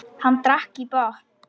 Hann drakk í botn.